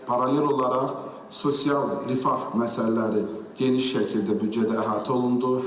Paralel olaraq sosial rifah məsələləri geniş şəkildə büdcədə əhatə olundu.